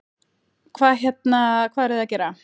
Hvað hérna, hvað eruð þið að gera?